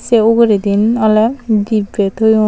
se uguredin oly dibbe toyon.